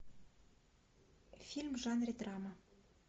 фильм в жанре драма